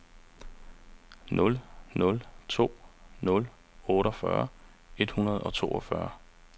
nul nul to nul otteogfyrre et hundrede og toogtyve